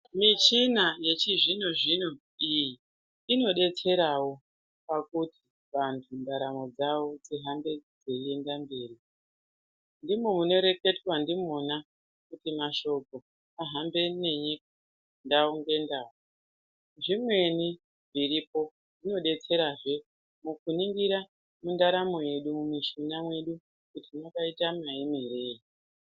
Michina yechizvino-zvino iyi, inodetserawo pakuti vantu ndaramo dzavo dzihambe dzeienda mberi. Ndimo munoreketwa ndimona kuti mashoko ahambe nenyika, ndau ngendau. Zvimweni zviripo zvinodetserahe mukuningira ndaramo yedu ,mushuna wedu kuti wakaita maemerei.